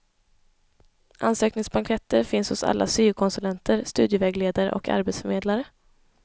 Ansökningsblanketter finns hos alla syokonsulenter, studievägledare och arbetsförmedlare.